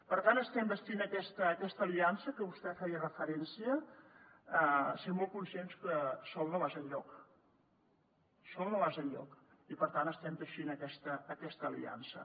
per tant estem bastint aquesta aliança a què vostè feia referència sent molt conscients que sol no vas enlloc sol no vas enlloc i per tant estem teixint aquesta aliança